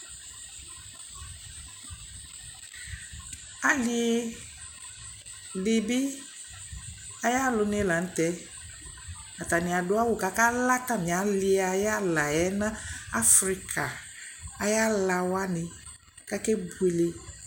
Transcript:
Alɩ dɩ bɩ ayʋ alʋnɩ la nʋ tɛ Atanɩ adʋ awʋ kʋ akala atamɩ alɩ ayʋ ala yɛ nʋ afrika ayʋ ala wanɩ kʋ akebuele